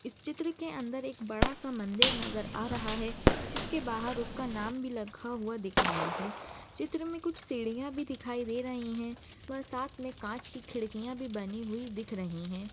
इस चित्र के अंदर एक बड़ा सा मंदिर नज़र आ रहा है जिसके बाहर उसका नाम भी लिखा हुआ दिख रहा है। चित्र मे कुछ सिडिया भी दिखाई दे रही है उपर साथ मे काच की खिडकिया भी बनी हुई दिख रही है।